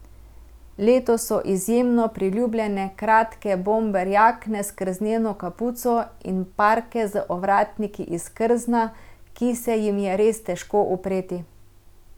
Letos so izjemno priljubljene kratke bomber jakne s krzneno kapuco in parke z ovratniki iz krzna, ki se jim je res težko upreti.